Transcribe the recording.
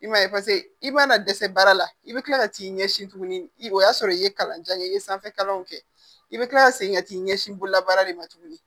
I m'a ye paseke i mana dɛsɛ baara la i bɛ kila ka t'i ɲɛsin tuguni o y'a sɔrɔ i ye kalan jan kɛ i ye sanfɛ kalanw kɛ i bɛ tila ka segin ka t'i ɲɛsin bololabaara de ma tuguni